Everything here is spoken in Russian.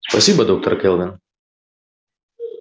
спасибо доктор кэлвин